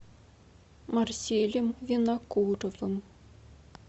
марселем винокуровым